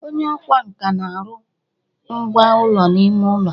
onye ọkwá nkà na-arụ ngwá ụlọ ime ụlọ